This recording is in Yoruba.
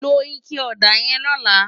Ló iké òdá yèn lòlá